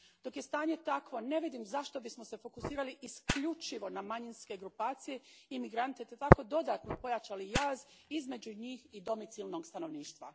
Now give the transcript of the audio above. Dok je stanje takvo ne vidim zašto bismo se fokusirali isključivo na manjinske grupacije i imigrante te tako dodatno pojačali jaz između njih i domicilnog stanovništva.